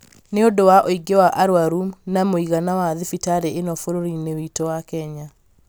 nĩ ũndũ wa ũingĩ wa arũaru na mũigana wa thibitarĩ ĩno bũrũri-inĩ witũ wa Kenya